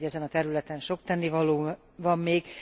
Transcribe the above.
Tudjuk, hogy ezen a területen sok tennivaló van még.